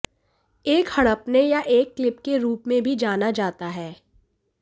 एक हड़पने या एक क्लिप के रूप में भी जाना जाता है